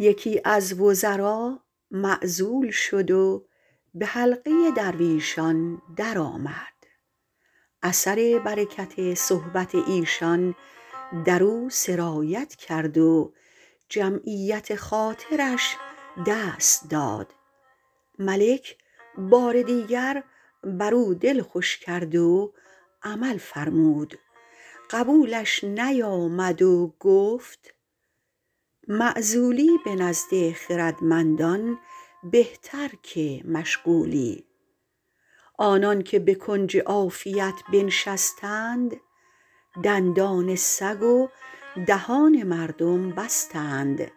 یکی از وزرا معزول شد و به حلقه درویشان درآمد اثر برکت صحبت ایشان در او سرایت کرد و جمعیت خاطرش دست داد ملک بار دیگر بر او دل خوش کرد و عمل فرمود قبولش نیامد و گفت معزولی به نزد خردمندان بهتر که مشغولی آنان که به کنج عافیت بنشستند دندان سگ و دهان مردم بستند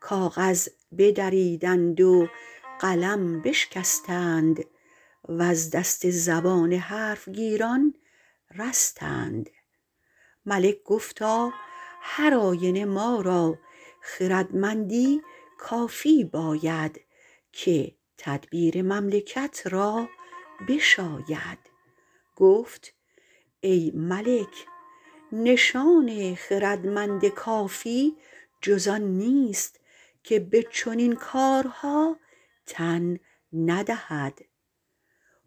کاغذ بدریدند و قلم بشکستند وز دست زبان حرف گیران رستند ملک گفتا هر آینه ما را خردمندی کافی باید که تدبیر مملکت را بشاید گفت ای ملک نشان خردمند کافی جز آن نیست که به چنین کارها تن ندهد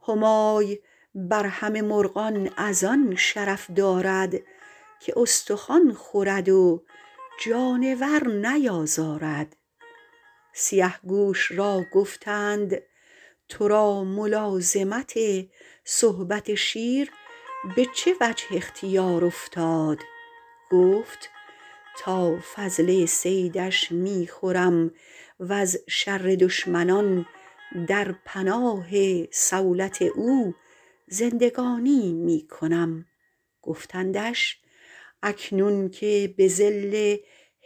همای بر همه مرغان از آن شرف دارد که استخوان خورد و جانور نیازارد سیه گوش را گفتند تو را ملازمت صحبت شیر به چه وجه اختیار افتاد گفت تا فضله صیدش می خورم و ز شر دشمنان در پناه صولت او زندگانی می کنم گفتندش اکنون که به ظل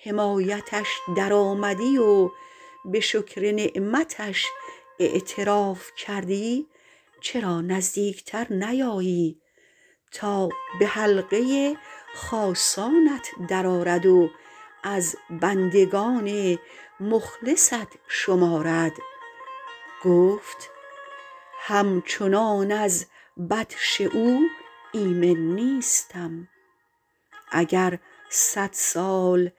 حمایتش در آمدی و به شکر نعمتش اعتراف کردی چرا نزدیک تر نیایی تا به حلقه خاصانت در آرد و از بندگان مخلصت شمارد گفت همچنان از بطش او ایمن نیستم اگر صد سال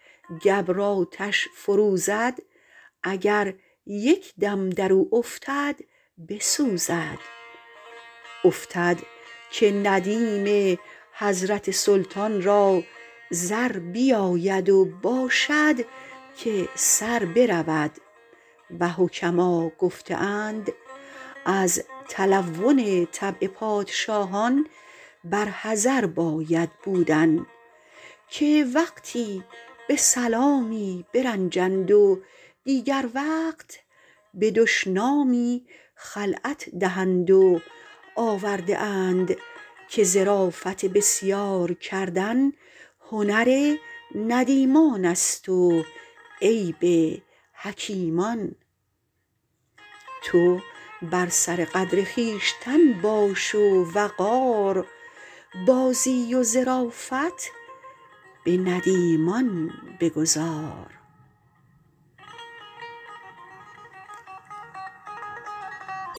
گبر آتش فروزد اگر یک دم در او افتد بسوزد افتد که ندیم حضرت سلطان را زر بیاید و باشد که سر برود و حکما گفته اند از تلون طبع پادشاهان بر حذر باید بودن که وقتی به سلامی برنجند و دیگر وقت به دشنامی خلعت دهند و آورده اند که ظرافت بسیار کردن هنر ندیمان است و عیب حکیمان تو بر سر قدر خویشتن باش و وقار بازی و ظرافت به ندیمان بگذار